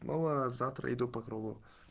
ну а завтра иду по кругу